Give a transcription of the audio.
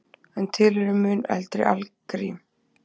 En til eru mun eldri algrím.